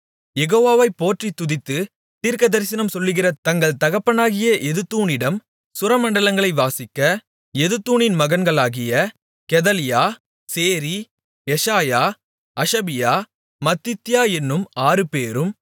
யெகோவாவைப் போற்றித் துதித்துத் தீர்க்கதரிசனம் சொல்லுகிற தங்கள் தகப்பனாகிய எதுத்தூனினிடம் சுரமண்டலங்களை வாசிக்க எதுத்தூனின் மகன்களாகிய Gedaliah Zeri Jeshaiah Hashabiah Mattithiah என்னும் ஆறுபேரும்